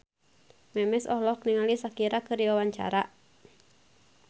Memes olohok ningali Shakira keur diwawancara